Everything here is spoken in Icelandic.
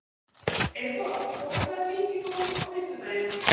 Eyborg, bókaðu hring í golf á fimmtudaginn.